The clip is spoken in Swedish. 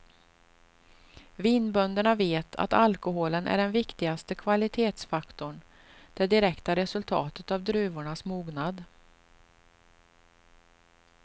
Vinbönderna vet att alkoholen är den viktigaste kvalitetsfaktorn, det direkta resultatet av druvornas mognad.